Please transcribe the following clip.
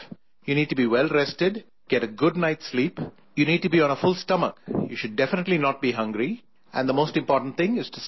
You need to be well rested, get a good night's sleep, you need to be on a full stomach, you should definitely not be hungry and the most important thing is to stay calm